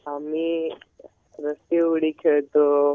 आम्ही रस्सी उडी खेळतो.